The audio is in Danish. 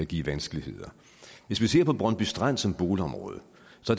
give vanskeligheder brøndby strand som boligområde